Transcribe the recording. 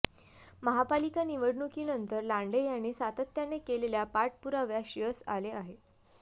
महापालिका निवडणुकीनंतर लांडे यांनी सातत्याने केलेल्या पाठपुराव्यास यश आले आहे